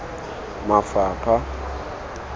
mafapha